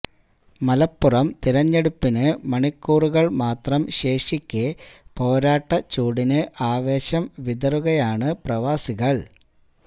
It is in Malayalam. മലപ്പുറം തിരഞ്ഞെടുപ്പിന് മണിക്കൂറുകള് മാത്രം ശേഷിക്കെ പോരാട്ട ചൂടിന് ആവേശം വിതറുകയാണ് പ്രവാസികള്